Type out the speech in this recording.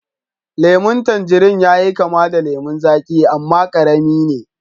lemun tanjirin yayi kama da lemun zaƙi amma karami ne